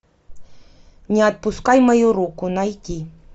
не отпускай мою руку найти